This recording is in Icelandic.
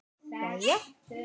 Jæja?